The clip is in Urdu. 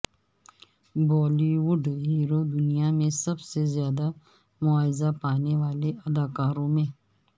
بالی وڈ ہیرو دنیا میں سب سے زیادہ معاوضہ پانے والے اداکاروں میں